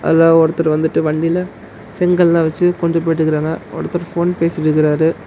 அல ஒருத்தர் வந்துட்டு வண்டில செங்கல்லா வச்சு கொண்டு போயிட்ருக்காங்க ஒருத்தர் ஃபோன் பேசிட்டிருக்காரு.